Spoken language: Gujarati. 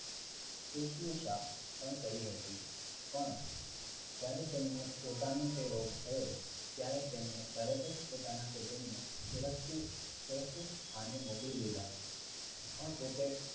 સુશ્રુષા પણ કરી હતી. પણ જ્યારે તેમને પોતાને તે રોગ થયો. ત્યારે તેમણે તરત જ પોતાના કુટુંબને સુરક્ષિત સુરક્ષિત સ્થાને મોકલી દીધા. અ પોતે